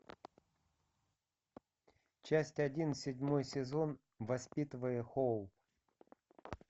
часть один седьмой сезон воспитывая хоуп